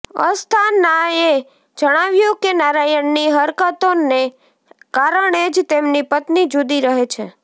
અસ્થાનાએ જણાવ્યુ કે નારાયણની હરકતોને કારણે જ તેમની પત્ની જુદી રહે છે